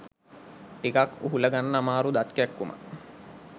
ටිකක් උහුලගන්න අමාරු දත් කැක්කුමක්.